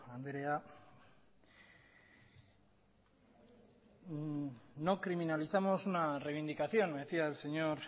andrea no criminalizamos una reivindicación me decía el señor